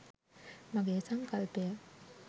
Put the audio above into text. මගේ සංකල්පය